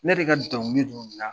Ne de ka dɔnkili dɔ la